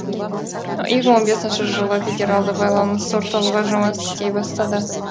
екі мың он бесінші жылы федералды байланыс орталығы жұмыс істей бастады